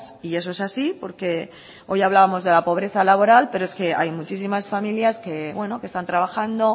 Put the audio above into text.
y eso es así porque hoy hablábamos de la pobreza laboral pero es que hay muchísimas familias que bueno que están trabajando